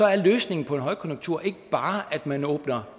er løsningen på en højkonjunktur ikke bare at man åbner